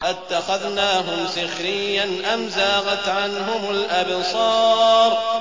أَتَّخَذْنَاهُمْ سِخْرِيًّا أَمْ زَاغَتْ عَنْهُمُ الْأَبْصَارُ